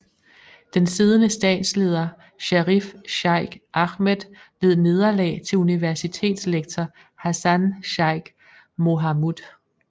Den siddende statsleder Sharif Sheikh Ahmed led nederlag til universitetslektor Hassan Sheikh Mohamud